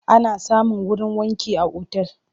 Ana samun wurin wanki a otal.